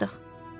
Çatdıq.